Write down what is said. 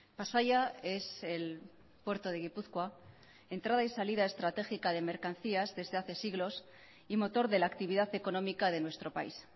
pasaia es el puerto de gipuzkoa entrada y salida estratégica de mercancías desde hace siglos y motor de la actividad económica de nuestro país